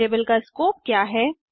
variable का scope क्या है160